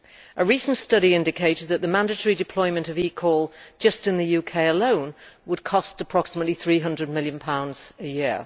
A recent study indicated that the mandatory deployment of eCall, in the UK alone, would cost approximately GBP 300 million a year.